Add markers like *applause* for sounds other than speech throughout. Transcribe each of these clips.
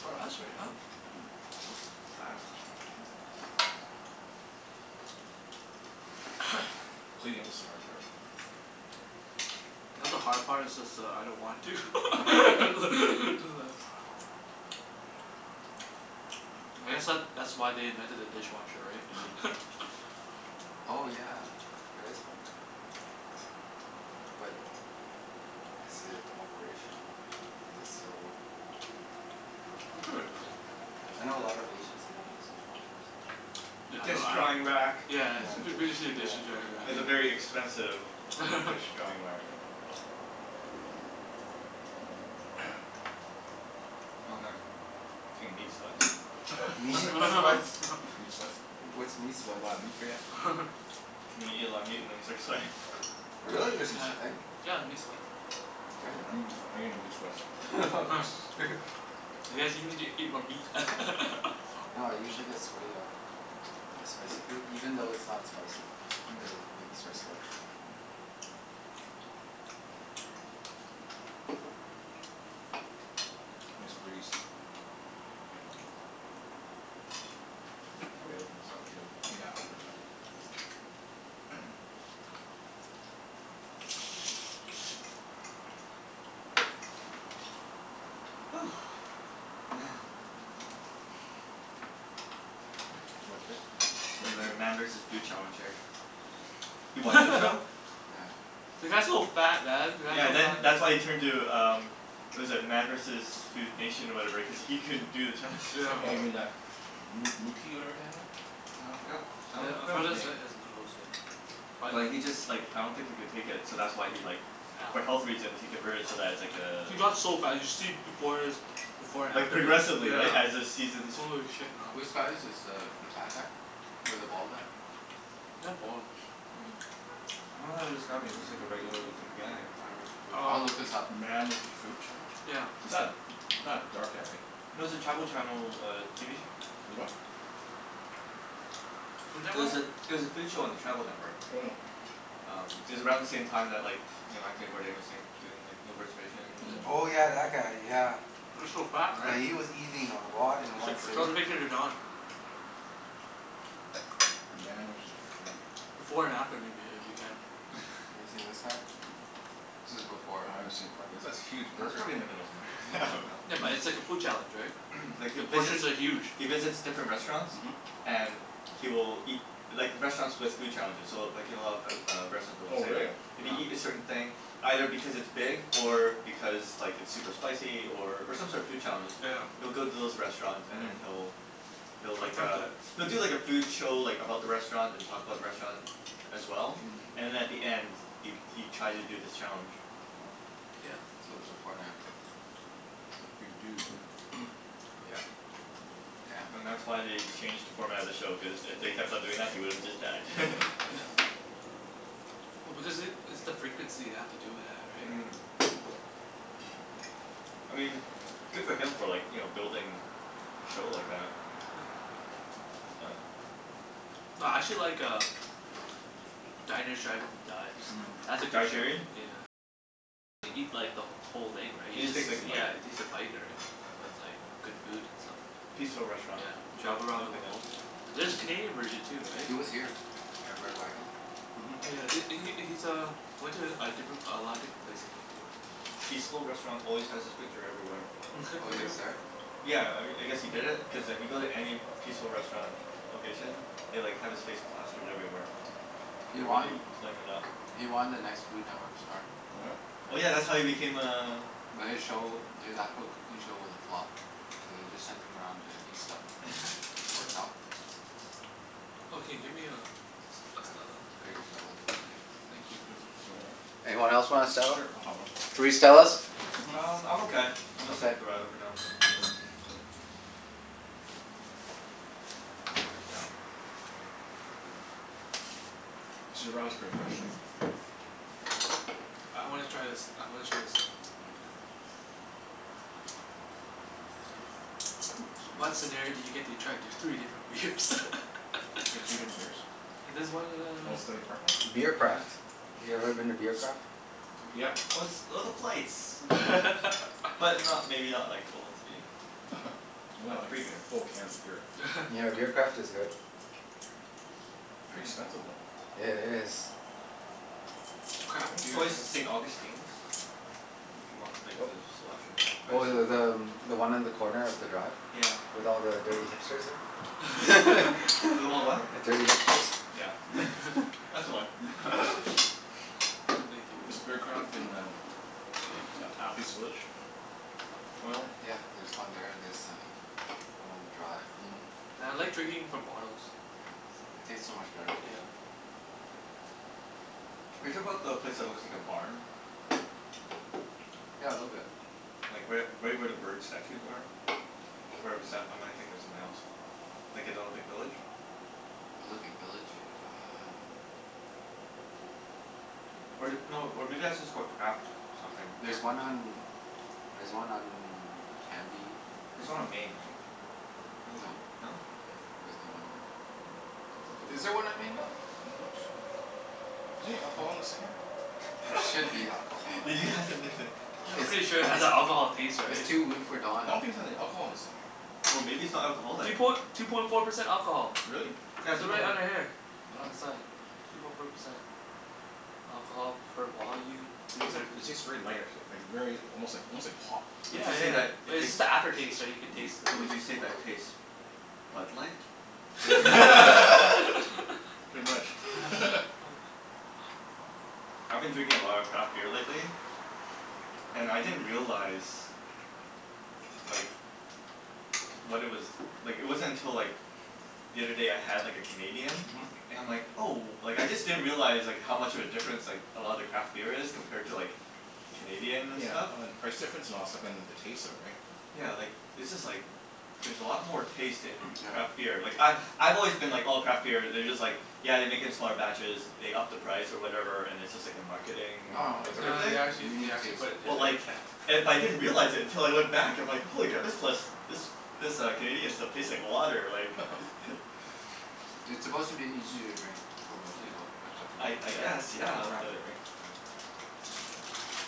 yeah. For us right now? That was fast. Mm. *noise* *noise* Cleaning up is the hard part. *noise* Not the hard part, it's just that I don't want *laughs* to. *laughs* *noise* I guess that that's why they invented a dishwasher, *noise* right? *laughs* Oh yeah. There is one. But is it *noise* operational? Does it still work? Mm. *noise* I'm sure it does. I know a lot of Asians, they don't use dishwashers so *noise* *noise* Yeah, Dish I don't I drying don't rack. Yeah, Yeah, it's f- b- dish, yeah, dishes *laughs* drying dish rack. drying It's a very rack. expensive *noise* *noise* dish *laughs* drying whack. *noise* Yeah. *noise* *noise* Oh man, *noise* getting meat sweats. *noise* Meat *laughs* sweats? *laughs* Meat sweats? What's meat *noise* That's a whole sweats? lotta meat for ya? *noise* *laughs* Meat, eat a lot of meat and then you start sweating. Oh, *noise* *laughs* Really? There's such Yeah. a hmm. thing? *noise* Yeah, the meat sweat. Seriously? I'm Damn. gett- sw- I'm getting meat *noise* sweats. *laughs* *laughs* *noise* You guys you need to eat more meat. *laughs* No, I usually get *noise* Mm. *noise* Mm. *noise* sweaty off spicy food. Even though it's not spicy *noise* it'll make me start sweating. Mm. *noise* Nice breeze. *noise* Yeah. *noise* Can probably open this up, too. *noise* Yeah, open it up. *noise* *noise* *noise* Woo. Man. *noise* It's *noise* Too much vape? Too much like a regulator meat? Man versus Food Challenge here. *noise* *noise* You *laughs* watch that show? Yeah. The guy's so fat, man. The guy's Yeah, so then that's why fa- he turned to um what was it? Man versus Food Nation or whatever cuz he couldn't do the challenges *noise* Yeah. *noise* Oh, you anymore. mean that moo moo key whatever kinda thing? Uh, I forgot I *noise* don- forgot his name. *inaudible* But he just like *noise* I don't think he could take it, so that's why he like for health reasons he convert it so that it's like Yeah. *noise* uh He got so fat. You should see b- before his before and Like after pic, progressively, right? As the yeah. seasons Holy *noise* shit, man. Which guy is this? The the fat guy? Or the bald guy? *noise* Not bald. *noise* Um, *noise* I don't know how to describe him. He looks Hmm. like a regular lookin' guy. *noise* Oh right, *noise* foo- I'll Um look *noise* this up. Man with his food challenge? Yeah. *noise* Is that *noise* not a dark guy, right? No, it was a *noise* Travel Channel TV show. Is *noise* what? It was a, it was a food show on the Travel Network. Mm. *noise* Um, it was around the same time that like you know, Anthony Bourdain was saying, *noise* doing like No Reservations, and Oh yeah, Mhm. that guy. Yeah. Mm. *noise* He was so fat, right? Yeah, he was eating a *laughs* lot in one Sh- sitting. show the picture to Don. *noise* Man was his *noise* food. *noise* Before and after, maybe. If you can. *laughs* Have you seen this guy? This is *noise* Oh, before, I haven't *noise* seen it right? for a b- that's a Yeah, huge that's burger. probably in the middle somewhere. In the middle. *noise* Yeah, *laughs* No. but it's like a food challenge, right? *noise* Like he The visits, portions are huge. he visits different restaurants. Mhm. And he will eat, like restaurants with food challenges so *noise* w- like you know of o- a lot of restaurants Oh, will say like really? *noise* if you Yeah. eat a certain thing, either because it's big *noise* or because like it's super Mhm. spicy or or some sort of food challenge *noise* he'll Yeah. go to those restaurants and then Mhm. he'll he'll like Attempt uh, it. *noise* he'll do like a food show like about the Mm. restaurant, *noise* Mm. *noise* and talk about the restaurant *noise* as well. Mhm. And at the end *noise* he he tries to do this challenge. Wow. Yeah. *noise* So, before and after. That's a big dude. *noise* *noise* Yeah. Damn. And that's why they changed the format of the show, cuz if they kept on doing that he would have just died. *laughs* *laughs* *noise* Oh because it, it's the *noise* frequency they have to do it at, right? Mm. *noise* *noise* I mean good for him for like, you know, building a show like that. *noise* But *noise* No, I actually like um Diners, drive-ins, and *noise* Dives. Mm. That's a *noise* Guy good show. Sheerian? *noise* Yeah, he takes a bite or, right? But it's like good food and stuff. *noise* Peaceful Restaurant. Yeah. Milk Travel around milk the in it. world Yeah. There's a Canadian *noise* version too, right? He was here at Red Wagon. *noise* Oh Mhm. yeah, th- he Yeah. he's uh he went to a different a lot of different places in Vancouver. Peaceful Restaurant always has his *noise* picture everywhere. Oh, It's he like, was there? *laughs* yeah, I I guess he did it cuz if you go to any Peaceful Restaurant location they like have his face plastered everywhere. Mhm. *noise* *noise* He They're won really playing it up. he won The Next Food Network Star. What? *noise* Oh yeah, that's Yeah. how he became a But his show, *inaudible* his actual *noise* cooking show was a flop. So they just sent him around to eat stuff and it worked Yeah. *laughs* out. *noise* Yeah, Oh, I'll can you get get me a a Stella? you a Stella. *noise* Yeah, *noise* thank you. *inaudible* Anyone else want a S- Stella? sure, I'll have one. Three Stellas? *noise* *noise* Mhm. Um, I'm okay. I'm gonna stick Okay. with the radler for now. *noise* Yeah. *noise* Actually, the radler's pretty good actually. I wanna try this, I wanna try the Stella. Yeah. Mm. *noise* Ooh, *noise* What excuse me. scenario do you get to try d- *noise* You three different beers? *laughs* get three different beers? There's one *noise* Oh, the uh Stanley Park one? *noise* Beer *noise* Mhm. Yeah, yeah. Craft. You ever been to Beer Craft? Yeah. Oh it's oh the *noise* Mm. flights. Mm. But *laughs* not, maybe not like full three here. Mm. *laughs* Not Not like, free beer. full cans of beer. Yeah, Beer Craft is *laughs* good. *noise* Pretty expensive, *noise* though. *noise* It is. It's craft *noise* It's beer, right? always the St. Augustine's. Mm if you want like Oop. the selection. They have quite Oh, a th- selection the too. um one on the corner of the Drive? Yeah. With all the dirty *noise* hipsters, there? With *laughs* all *laughs* the what? The dirty hipsters. Yeah. *laughs* That's the one. *laughs* *inaudible* *laughs* *laughs* I thank you. *noise* Is Beer Craft in um A- Athlete's Village? *noise* Oil? *noise* Yeah, there's one there. There's uh one on the Drive. Mhm. Yeah, I like drinking from bottles. Yeah, s- it tastes so much better. Yeah. Are you talking 'bout the place that looks like a barn? *noise* Yeah, a little bit. Like right u- right where the bird statues are? Where bes- or am I thinking of something else? Like in Olympic Village? *noise* Olympic Village? Um *noise* Or th- no, or maybe that's just called Craft something. There's Craft house one or on, there's one on Cambie. *noise* *noise* There's one on Main, right? Feel like there's No. one, no? N- *noise* I'm there's none on not Main. Oh, I thought there sure. was Is a Is there there one Craft on on Main, Don? Main. any alcohol in this thing here? *inaudible* There should be alcohol *laughs* in Did you ask if that. there's any I'm It's pretty sure it has that alcohol taste, it's right? it's too weak for I Don. don't think there's any *noise* alcohol in this thing here. Oh, maybe it's not Two alcoholic? poin- two point four percent alcohol. Really? Yeah, two They're point right four. under here. Oh. Oh. On the side, yeah. Two point four percent. Alcohol per volume, three Those are, hundred it fifty tastes very light actually. Like very almost like *noise* almost like pop. Would Yeah, you say that yeah. But it it's tastes just the after taste, right, you can taste Mm. the but beer. would you say that tastes Bud Light? *noise* Yeah. *laughs* Pretty much. *laughs* *laughs* *laughs* I've been drinking a lot of craft beer lately. And I didn't *noise* realize like what it was, like it wasn't until like *noise* the other day I had like a Canadian Mhm. and I'm like, oh, like I just didn't realize like how much of a difference *noise* like a lot of the craft beer is compared to like Canadian and Yeah, stuff. oh and the price difference and all that stuff, and then the taste of it, right? Yeah, like it's just like there's a lot more taste in *noise* Yeah. craft beer. Like I Mhm. I've always been like oh, *noise* craft beer, they're just like yeah they make it in smaller batches, they up the price or whatever, and it's just like a Mm. *noise* marketing No no, it's No whatever th- thing. they a actually they unique actually taste. put it d- But d- like yeah. it, but I didn't realize it until I *noise* went back I'm like, Mhm. holy crap, this lis- this this uh Canadian stuff tastes like water, like Yeah, *laughs* *noise* yeah. *laughs* *noise* It's Cra- supposed to be easier to drink for most Yeah. people, that's why people I I mo- guess, Yeah. yeah, craft but beer, right? Yeah.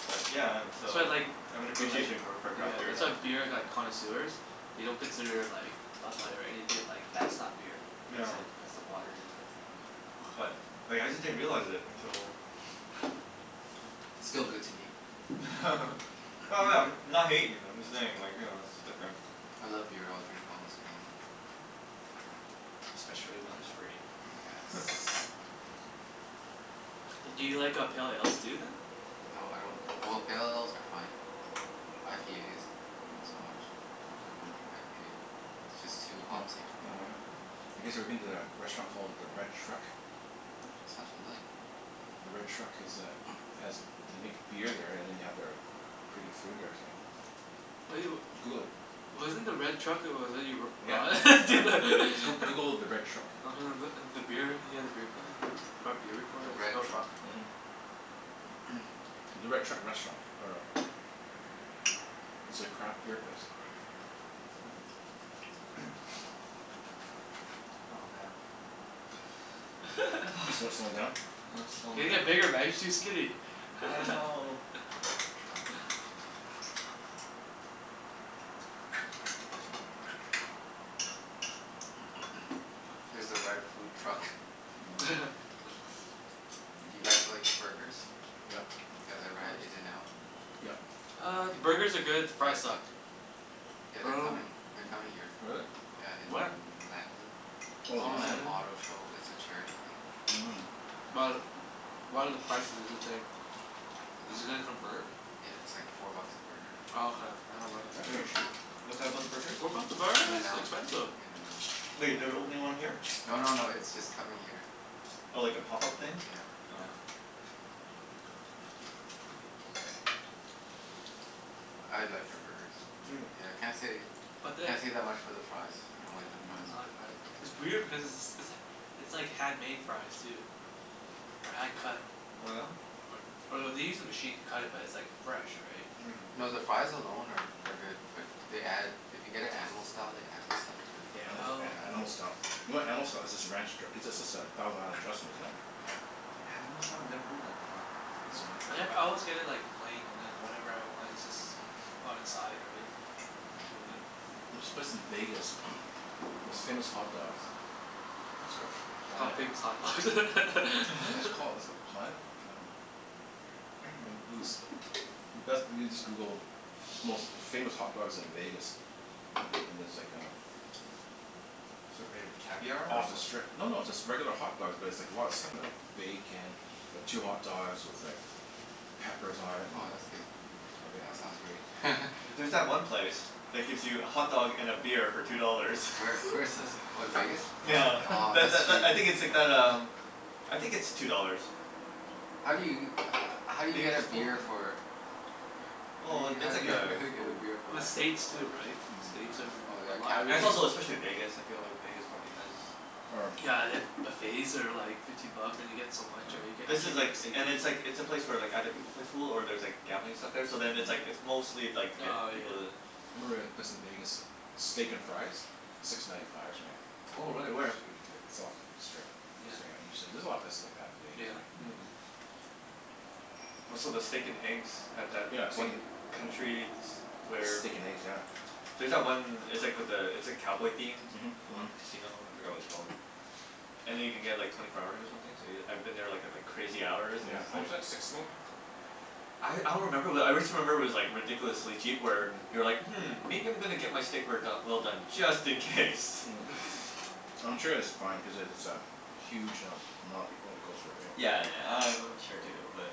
but yeah and That's so why I like I have an I like appreciation go- for Yeah, craft beer that's why now. beer like connoisseurs *noise* they don't consider like Bud Light or anything, like that's not beer. That's Yeah. *noise* it, that's the water they say. But like I just didn't realize it until *noise* *noise* Still good to me. *noise* *laughs* *laughs* Well no, I'm *noise* not hatin', I'm just saying like, you know, it's different. I love beer. I'll drink almost anything. *noise* *noise* Especially when it's free. Yes. *laughs* *noise* Do you like uh pale ales too, then? No, I don't, well, pale *noise* ales are fine. IPAs not so much. I Mm. won't drink IPA. *noise* Just Yeah. You too kn- hopsy for me. w- Mm. you guys ever Yeah. been to a restaurant called the Red Truck? Sounds familiar. The Red Truck is uh *noise* has, they make beer there and then they have their pretty good food they were saying. *noise* What do yo- *noise* Google it. *noise* Wasn't the Red Truck *inaudible* Yeah. Yeah. *inaudible* Goo- *laughs* Google the Red Truck. *noise* Mhm. *inaudible* beer, you had a beer can? You brought beer before The and it was Red no- Truck? yeah. *noise* *noise* The Red Truck Restaurant or *noise* *noise* It's a craft beer place. Mm. *noise* Oh man. *noise* Slo- slowing *laughs* down? *noise* I'm *noise* You slowin' gotta down. get bigger man. You're too skinny. I *laughs* know. The Red Truck. *noise* *noise* Here's the Red Food Truck. Mm. *laughs* Do you guys *noise* like burgers? Yep. You Yeah, guys of ever had course. In and Out? *noise* Yep. *noise* Uh, the burgers are good. The *inaudible* You fries guys like suck. *noise* Oh Yeah, But I they're dunno coming, they're coming here. really? Yeah, in Where? Langley. *noise* To *noise* Oh, Oh, some Langley. auto Langley? *noise* show. It's a charity thing. But, *noise* what are the prices is this day? Uh, Is it gonna Mm. convert? yeah, it's like four bucks a burger. Oh, okay. Yeah, I *noise* *noise* wasn't. That's Wait, pretty cheap. what's that about the burgers? What about the burgers? In and That's Out. expensive. In and Out. Wait, they're opening one here? No no no, it's just coming here. *noise* Oh, like a pop-up thing? Yeah. Oh. Yeah. *noise* I *noise* liked their burgers. Yeah, Yeah. can't say But the can't say that much for their fries. I don't Yeah, like *noise* their Mhm. fries, I don't like but the I like Mm. fries. their It's burgers. weird because it's it's it's it's like handmade fries, too. Or hand cut. *noise* Oh yeah? Or or they use a machine to cut it but it's like fresh, right? *noise* *noise* Mm. *noise* No, the fries alone are are good but they add, if you get it Animal Style they add this stuff *noise* to it. Yeah, anima- Oh. a- animal Yeah. style. You know what animal style is? It's just a ranch dr- it's just a thousand island dressing, *noise* isn't it? Yeah. Animal style? Never heard that before. Oh. I never *inaudible* always get it like plain and then whatever I want is just *noise* on the side, right? *inaudible* *noise* There's this place in Vegas *noise* most famous hot dogs. I think it's called It's called Planet Famous Hot *noise* Dogs. What was it *laughs* called? It's *laughs* *laughs* called Planet Ho- um like these, best, you just Google most famous hot dogs in Vegas. Me- and there's like um *noise* It's like made of caviar, *noise* or Off the what? strip. No, no, it's just regular hot dogs but it's like a lot of stuff on them. Bacon. Two hot dogs with like *noise* peppers on it and Oh, that's good. Mm. everything Yeah, on that sounds it. great. *laughs* There's that Yeah. Mm. one place that gives you a *noise* hotdog and a beer for two dollars. Where? Where *laughs* is this? *laughs* Oh, in Vegas? Nyeah. Oh, Tha- tha- that's l- I sweet. think it's like that um I think it's two dollars. *noise* How do you, *noise* how do you Maybe get a it's four now. beer for Well i- how it's do like you, how a do you get a goo- beer for Well, less than two States too, dollars? right? States Mm. Oh, oh are a yeah, lot Right. And it's everything capital also especially Vegas, I feel like Vegas probably has Or Yeah, and then buffets are like fifteen bucks and you get so much, Yeah. right? You can This actually is like get and seafood. it's like, it's a place where like other people play pool or there's like gambling stuff there so then it's like Mm. it's mostly like to get Oh, yeah. people to I remember a place in Vegas, Steak and Fries? Six ninety five or something like that. Oh Oh, really? Where? shoot. Like, it's off of the strip. *inaudible* Yeah. There's a lot of places like that in Vegas, right? Yeah. Mm. Oh, so the steak and eggs at that *noise* Yeah, steak and one country s- where Steak and eggs, yeah. There's that one, it's like with the, it's like cowboy themed? Mhm. The Mhm. one casino? I forgot what it's called. Mm. *noise* And then you can get like twenty four hours or something so y- I've been there like at like crazy hours and Yeah, it's just how like much that? Six swing that? I I don't remember, but I wrist remember it was like ridiculously cheap where Mhm. you're like "Hmm, maybe *noise* I'm gonna get my steak rare do- well done just in case." Mm. *laughs* *laughs* I'm sure it's fine cuz it it's a huge um amount of people in the coastal area. Yeah, yeah, I I'm sure too but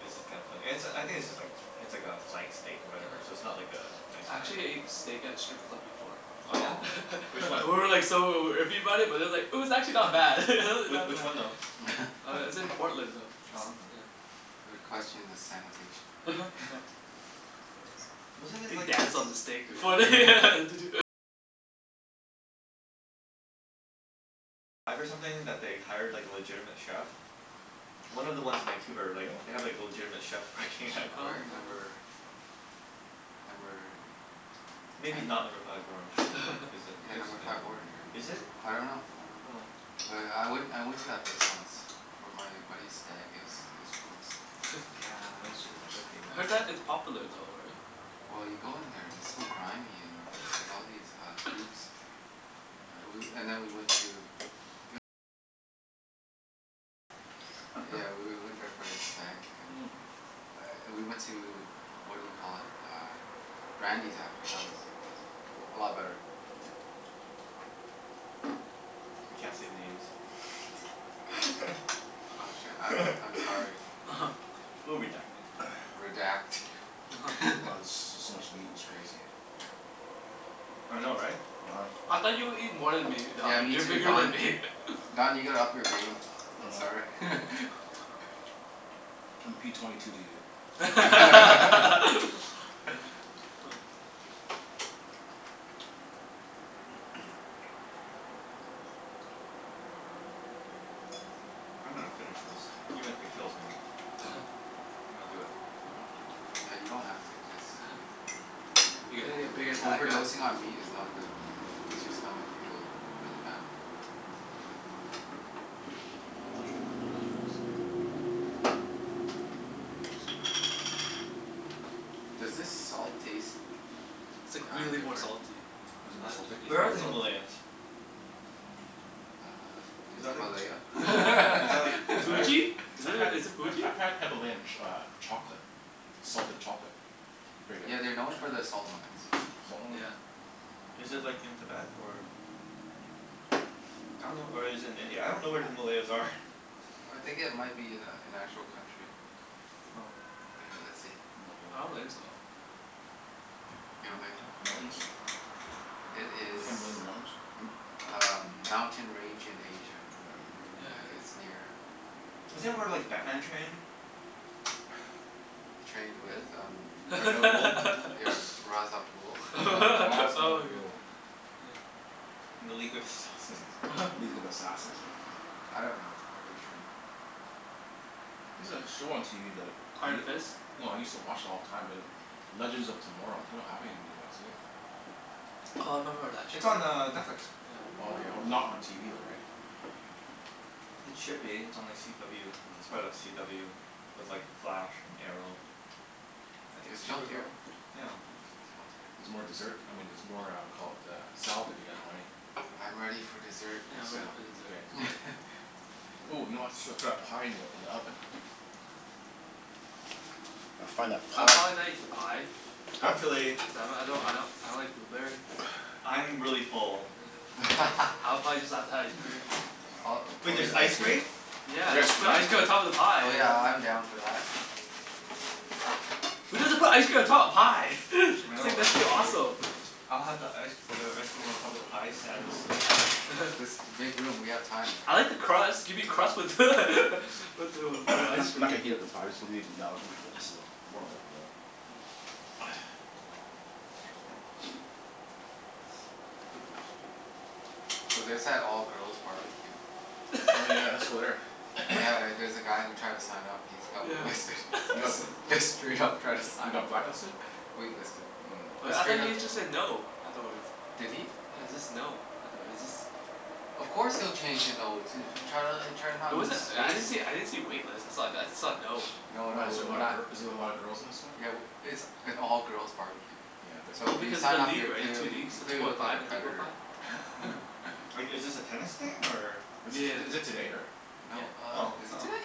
It's just kinda funny. And it's a, I think it's just like it's like a flank steak or whatever, so it's Mm. not like a nice I cut or actually anything. ate steak at a strip club before. Oh yeah? Oh. Which *laughs* one? And we were like so iffy about it, but it's like it was actually not bad. *laughs* *noise* W- Not which one bad. though? Uh *laughs* it's in That's Portland though. Oh, huh. It's, yeah. I would Yeah. question the sanitation. *laughs* *laughs* Yeah. Wasn't it They like dance on the steak *noise* before they Yeah. *laughs* One *noise* of the ones in Vancouver, like, they have Really? like a legitimate chef working at Oh. No. Where? Number number Maybe not Number ten? Five Orange cuz *laughs* that Yeah, place is Number kinda, Five Orange, right? is it? I dunno. I dunno. Oh. But I went I went to that place once *noise* It for my buddy's stag. It was it was gross. Yeah, *laughs* it would was gross. I heard be. that it's *noise* popular though, right? Well you go in there and it's so grimy, and there's like all these uh boobs. *laughs* Ah woo- and then we went to Yeah, we w- went there for his stag and *noise* we went to, what do you call it? Uh Brandi's after. That was that was a lot better. We can't say names. Oh shit, I'm *laughs* I'm sorry. *laughs* We'll redact it. *noise* Redact. *noise* Wow, this *laughs* is *laughs* just so much meat it's crazy. Yeah. *noise* I know, right? *noise* uh-huh. I thought you would eat more than me, Yeah, Don. me You're too bigger than Don. *noise* me. *laughs* Don, you gotta up your game. I'm sorry. *laughs* Oh. *noise* I'm p twenty two to you. *noise* *laughs* *laughs* Oh. *laughs* *noise* *noise* I'm gonna finish this even if it kills me. *laughs* I'm gonna do it. *noise* You don't have to. Yeah, you don't have to. Just *laughs* You gotta get big as that guy. Overdosing on meat is not good. I- No. it makes your stomach feel really bad. *noise* *inaudible* Mm. Does this salt taste It's like uh really more different? salty. *noise* Is it more I don- salty? *noise* it's Where are more the salty. Himalayans? Uh, *noise* Is in that like Himalaya? Is that like *noise* I *laughs* had, Tibet? Fuji? *laughs* Is I've it had is it I've Fuji? I've had Himalayan ch- uh chocolate. Salted chocolate. Pretty Yeah, good. they're known Oh. for their *noise* salt Salt mines. mm. Yeah. Is it like in Tibet, or *noise* I dunno or is it in India? I don't know where the Himalayas are. *noise* I *laughs* think it might be an a- an actual country. *noise* Oh. *noise* Okay, let's see. I don't Himalayan. think so. *noise* You don't think so? M- Okay, mountains? let's see. It is The Himalayan Mountains? m- uh *noise* mountain *noise* range in Asia. Yeah, Yeah, yeah. it's near Mm. *noise* Isn't that where like *inaudible* Batman trained? Trained with um *noise* I- Ra's al Ghul. Yeah, *laughs* Ra's al Ghul? Yeah. *noise* *laughs* Ra- *laughs* Ra's al Oh my god. Ghul. Ah. *noise* And the League of Assassins. *laughs* League *laughs* of Assassins, right? *noise* Yeah. I dunno where he trained. There's a show on TV that y- Iron Fist? no, I used to watch it all the time be like Legends of Tomorrow. They don't have any new ones, do they? Mm. *noise* Oh, I remember that *noise* It's on uh show. Netflix. Yeah. Oh, okay. Not on TV though, right? *noise* Mm. *noise* *noise* It should be. It's on like CW. It's part of that CW with like The Flash, and Arrow. I think It's it's filmed here. Supergirl? Yeah. It's filmed here. Mhm. *noise* There's more dessert, I mean there's more uh caul- uh, salad if you guys want any? I'm ready for dessert. Yeah, I I'm saw. ready for Okay, dessert. dessert. *laughs* *laughs* Ooh, you know I srut srut that pie in the in the oven. uh-oh. Find that I'll pie. probably not eat the pie. Huh? Actually Cuz I m- I don't I don't I don't like blueberry. I'm really full. Yeah. I'll probably *laughs* just have the ice cream. Uh, Wait, or there's just ice ice cream? cream? Yeah. Yes Just put ice cream *inaudible* on top of the pie Oh is yeah, I'm down for that. Yeah, yeah. Who doesn't put ice cream on top of pie? *laughs* I It's know, like that's that's pretty just crazy. awesome. I'll have the ice uh ice cream on top of the pie Yeah. sans Yeah. the pie. *laughs* Just to make room. We have time, *noise* *noise* I right? like Mm. the crust. Gimme crust with *laughs* with the *noise* with the I'm not ice cream. not gonna heat up the pie. Just leave it in the oven for just a little *noise* warm it up a bit. Mm. Oh yeah. Make sure *noise* *noise* So there's that all girls barbecue. Oh yeah, let's go there. *laughs* *noise* Yeah, there's a guy who tried to sign up he's got wait listed. Yeah. He Just got bl- *laughs* just straight up tried to he sign up got for blacklisted? that. Wait listed. Mm. Wait, Just I thought straight up he just said no afterwards? Did he? Yeah, it's just no, I thought it just Of course he'll change to *noise* no, to try to l- try Yeah. not It to lose wasn't, I didn't see, face. I didn't see a wait list. I saw, *noise* I saw a no. *noise* No, no, Why is That's there a what we're lot I of not gir- heard. is there a lot of girls in this one? Yeah, w- it's an all girls barbecue. Yeah, but So Well, if you because of the sign up league, you're right? The two clearly, leagues. you The two clearly point look like a five and three point five. predator. Huh? Mm. *laughs* Like, is this a tennis thing, or Is this is is it today, or No, Yeah. uh Oh, is it oh. today?